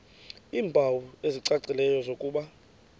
iimpawu ezicacileyo zokuba